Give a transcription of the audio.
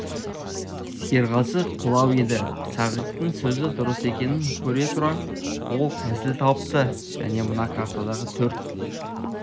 серғазы қулау еді сағиттің сөзі дұрыс екенін көре тұра ол тәсіл тапты мен мына картадағы төрт